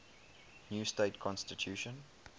new state constitution